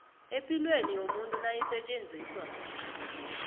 epilweni yomuntu nayisetjenziswa